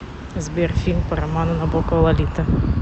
сбер фильм по роману набокова лолита